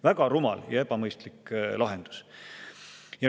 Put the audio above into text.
Väga rumal ja ebamõistlik lahendus!